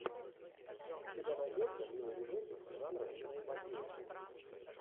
у тебя найдется милый видосик жанра киноэпопея